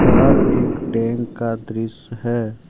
यह एक टैंक का दृश्य है।